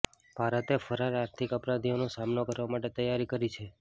ભારતે ફરાર આર્થિક અપરાધીઓનો સામનો કરવા માટે તૈયારી કરી છે